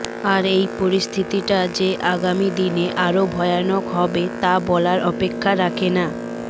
আর এই পরিস্থিতিটা যে আগামী দিনে আরও ভয়ানক হবে তা বলার অপেক্ষা রাখে না